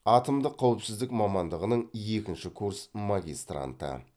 атомдық қауіпсіздік мамандығының екінші курс магистранты